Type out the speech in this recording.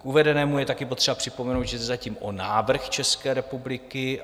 K uvedenému je také potřeba připomenout, že jde zatím o návrh České republiky.